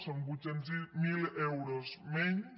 són vuit cents miler euros menys